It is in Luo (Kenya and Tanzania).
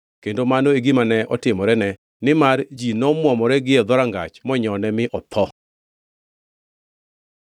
Kendo mano e gima ne otimorene, nimar ji nomwomore gie dhorangach monyone mi otho.